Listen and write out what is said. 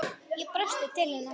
Ég brosti til hennar.